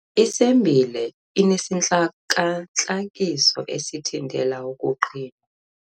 Isembile inesintlakantlakiso esithintela ukuqhinwa.